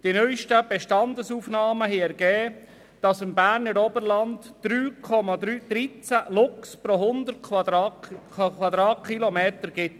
Die neusten Bestandsaufnahmen haben ergeben, dass es im Berner Oberland 3,13 Luchse pro 100 Quadratkilometer gibt.